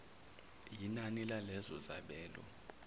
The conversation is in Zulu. yinani lalezo zabelo